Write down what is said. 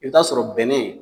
E bi t'a sɔrɔ bɛnɛ